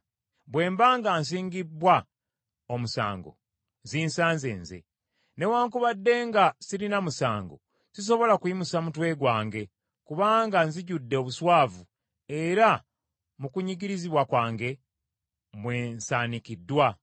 Bwe mba nga nsingibbwa omusango, zinsanze nze! Newaakubadde nga sirina musango, sisobola kuyimusa mutwe gwange, kubanga nzijjudde obuswavu era mu kunyigirizibwa kwange, mwe nsaanikiddwa.